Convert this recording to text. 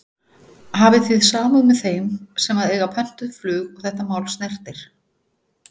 Hafi þið samúð með þeim sem að eiga pöntuð flug og þetta mál snertir?